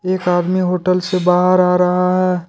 एक आदमी होटल से बाहर आ रहा है।